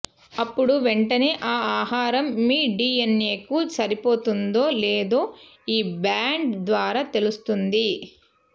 అప్పుడు వెంటనే ఆ ఆహారం మీ డీఎన్ఏకు సరిపోతుందో లేదో ఈ బ్యాండ్ ద్వారా తెలుస్తుంది